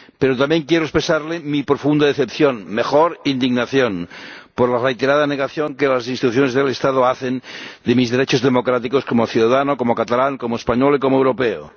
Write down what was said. Pero también quiero expresarle mi profunda decepción —mejor, indignación— por la reiterada negación que las instituciones del Estado hacen de mis derechos democráticos como ciudadano, como catalán, como español y como europeo.